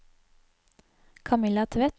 Kamilla Tvedt